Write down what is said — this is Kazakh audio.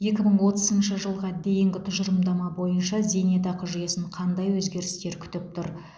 екі мың отызыншы жылға дейінгі тұжырымдама бойынша зейнетақы жүйесін қандай өзгерістер күтіп тұр